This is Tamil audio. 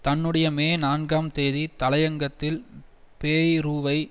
தன்னுடைய மே நான்காம் தேதி தலையங்கத்தில் பேய்ரூவை